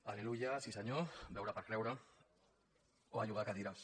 al·leluia sí senyor veure per creure o a llogar·hi cadires